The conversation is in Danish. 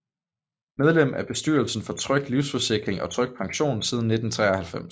Medlem af bestyrelsen for Tryg livsforsikring og Tryg pension siden 1993